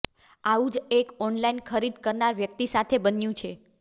આવું જ એક ઓનલાઈન ખરીદ કરનારી વ્યક્તિ સાથે બન્યું છે